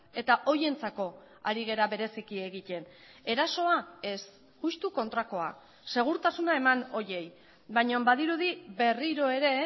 eta horientzako ari gara bereziki egiten erasoa ez justu kontrakoa segurtasuna eman horiei baina badirudi berriro ere